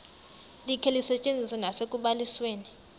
likhe lisetyenziswe nasekubalisweni